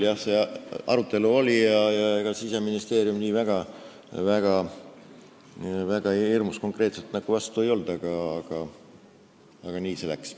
Jah, see arutelu oli ja ega Siseministeerium nii väga hirmus konkreetselt nagu vastu ei olnud, aga nii see läks.